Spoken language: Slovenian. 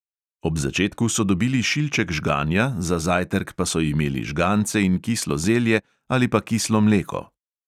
Ob začetku so dobili šilček žganja, za zajtrk pa so imeli žgance in kislo zelje ali pa kislo mleko.